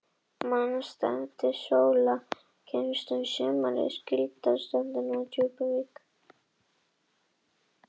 Mannsefninu hafði Sóla kynnst þá um sumarið, þegar hún vann við síldarsöltun á Djúpuvík.